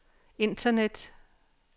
internet